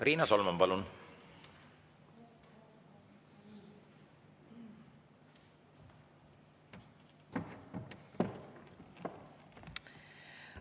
Riina Solman, palun!